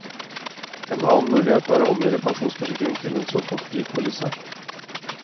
En annen mulighet er å omgjøre pensjonsforsikringen til en såkalt fripolise.